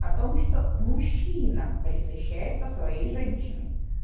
о том что мужчина пресыщается своей женщиной